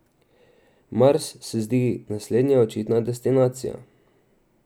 Mars se zdi naslednja očitna destinacija.